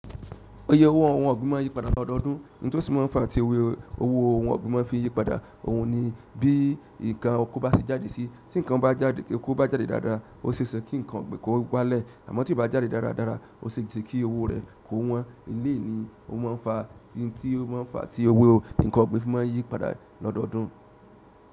Oye owó ohun ọ̀gbìn má n yípadà lọ́dọọdún, ńtò sí mọ ńfa tí owo owó ohun ọ̀gbìn ma ń fi yípadà. Ohun ni bí ǹkan okò bá ṣe jáde sí, tí ǹkan oko bá jáde dáadáa, ó ṣe é ṣe kí ǹkan ó gbá lẹ̀. Àmọ́ tí ó bá ti jáde dáradára, ó se sẹ́ kí owó rẹ̀ kó wọ́n. Èléè ni ó má ń fa tí owó ohun ǹkan ọ̀gbìn ma ń yípadà lọ́dọọdún.